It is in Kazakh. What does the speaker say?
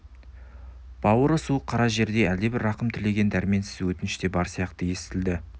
бауыры суық қара жердей әлдебір рахым тілеген дәрменсіз өтініш те бар сияқты естілді